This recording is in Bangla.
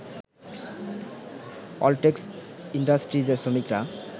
অলটেক্স ইন্ডাস্ট্রিজের শ্রমিকরা